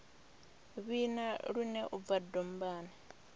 vhina lune u bva dombani